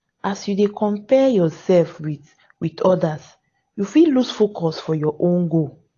as you dey compare yoursef wit wit odas you fit loose focus for your own goal.